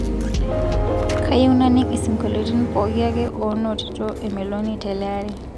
kayieu naning' isingolioitin pooki ake oonotito emeloni teleari